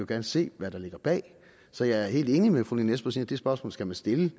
gerne se hvad der ligger bag så jeg er helt enig med fru lene espersen i at det spørgsmål skal man stille